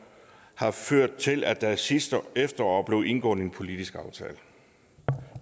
har ført til at der sidste efterår blev indgået en politisk aftale